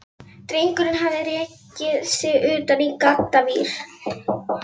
Drengurinn hafði rekið sig utan í gaddavír.